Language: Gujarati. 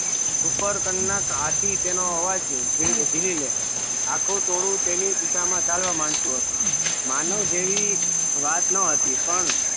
સુપ્રકન ના હાથી તેનો અવાજ જીલી લે આખું ટોળું તેની દિશા માં ચાલવા માડતું હતું માનવ જેવી વાત નો હતી પણ